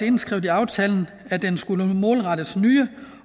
indskrevet i aftalen at den skulle målrettes nye